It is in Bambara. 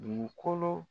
Dugukolo